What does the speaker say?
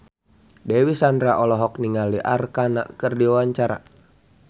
Dewi Sandra olohok ningali Arkarna keur diwawancara